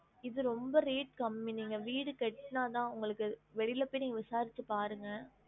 இது ரொம்ப rate கம்மி நீங்க வீடு கட்னதா உங்களுக்கு வெளில போய் நீங்க விசாரிச்சு பாருங்க